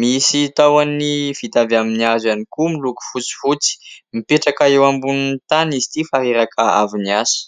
misy tahony vita amin'ny hazo ihany koa miloko fotsifotsy. Mipetraka eo ambonin'ny tany izy ity fa reraka avy niasa.